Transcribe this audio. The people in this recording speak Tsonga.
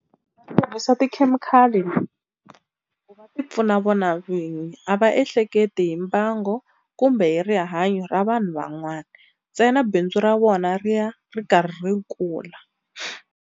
Va tirhisa tikhemikhali ku va tipfuna vona vinyi, a va ehleketi hi mbango kumbe hi rihanyo ra vanhu van'wana ntsena bindzu ra vona ri ya ri karhi ri kula.